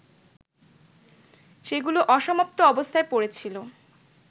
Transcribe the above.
সেগুলো অসমাপ্ত অবস্থায় পড়েছিল